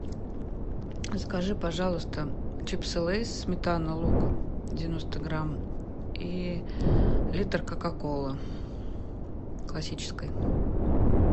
закажи пожалуйста чипсы лейс сметана лук девяносто грамм и литр кока колы классической